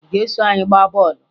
Ị ga-eso anyị gbaa bọọlụ?